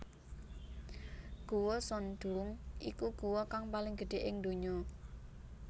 Guwa Son Doong iku guwa kang paling gedhe ing ndonya